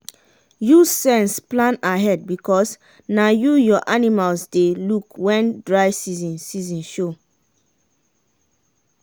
use sense plan ahead because na you your animals dey look wen dry season season show.